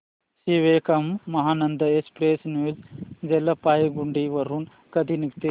Sikkim Mahananda express new Jalpaiguri वरून कधी निघते